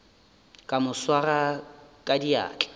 ka mo swara ka diatla